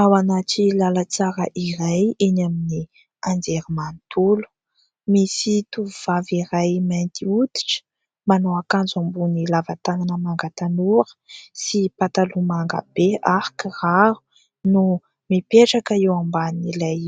Ao anaty lalantsara iray eny amin'ny anjerimanontolo, misy tovovavy iray mainty hoditra manao akanjo ambony lava tanana manga tanora sy pataloha mangabe ary kiraro no mipetraka eo amban'ilay